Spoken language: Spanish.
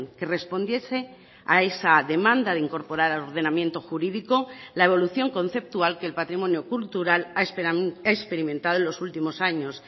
que respondiese a esa demanda de incorporar al ordenamiento jurídico la evolución conceptual que el patrimonio cultural ha experimentado en los últimos años